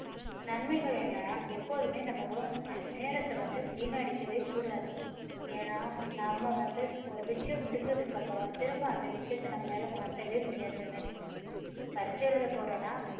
நன்மைகள் என்ன எப்போதுமே நம்ம உன்~ நேரத்தை வந்து வீணடிக்கவே கூடாது ஏன்னா நம்ம வந்து ஒரு விஷயம் முடிஞ்சதுக்கு அப்பறம் திரும்ப அந்த விஷயத்தை நம்மளால மாத்தவே முடியாது என்னைக்கும். பரீட்சை எழுத போறோம்னா